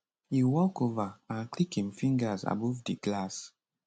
e walk ova and click im fingers above di glass